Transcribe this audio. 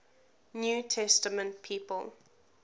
new testament people